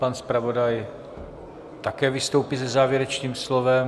Pan zpravodaj také vystoupí se závěrečným slovem.